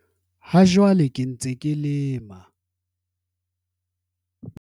"Ha jwale ke ntse ke lema"